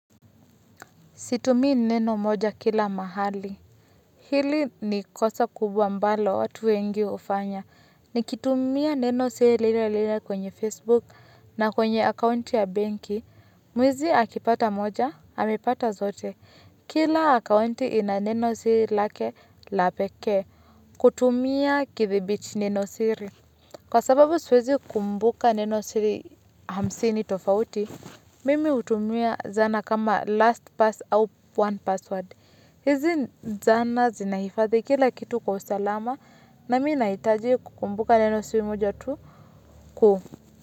Situmii neno moja kila mahali, hili ni kosa kubwa ambalo watu wengi hufanya, nikitumia nenosiri lile lile kwenye Facebook na kwenye akaunti ya benki, mwizi akipata moja, amepata zote, kila akaunti ina nenosiri lake la pekee. Kutumia kidhibiti nenosiri. Kwa sababu siwezi kukumbuka nenosiri hamsini tofauti, mimi hutumia zana kama lastpass au one password. Hizi zana zinahifadhi kila kitu kwa usalama na mi nahitaji kukumbuka nenosiri mja tu kuu.